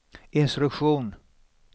instruktion